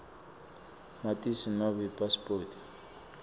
matisi nobe ipasipoti